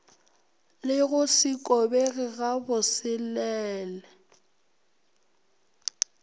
le go se kobege gabosele